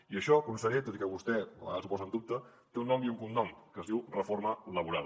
i això conseller tot i que vostè a vegades ho posa en dubte té un nom i un cognom es diu reforma laboral